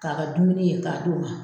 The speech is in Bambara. K'a ka dumuni ye k'a d'o ma.